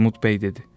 Armud bəy dedi.